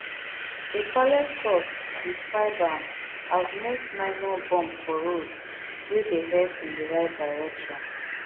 a palace source describe am as most minor bump for road wey dey head in di right direction